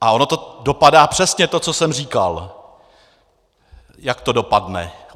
A ono to dopadá přesně to, co jsem říkal, jak to dopadne.